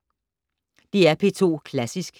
DR P2 Klassisk